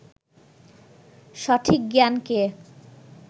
সঠিক জ্ঞানকে